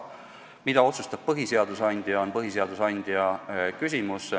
Mida otsustab põhiseaduse andja, on põhiseaduse andja küsimus.